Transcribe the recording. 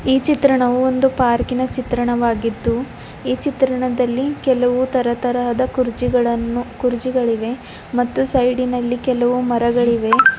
ಈ ಚಿತ್ರಣವು ಒಂದು ಪಾರ್ಕ್ ನ ಚಿತ್ರಣವಾಗಿದ್ದು ಈ ಚಿತ್ರಣದಲ್ಲಿ ಕೆಲವು ತರತರಾದ ಕುರ್ಚಿಗಳನ್ನು ಕುರ್ಚಿಗಳಿವೆ ಮತ್ತು ಸೈಡ್ ನಲ್ಲಿ ಕೆಲವು ಮರಗಳಿವೆ.